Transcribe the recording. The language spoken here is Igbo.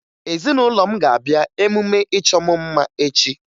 Ezinụlọ m ga-abịa emume ịchọ mụ mma echi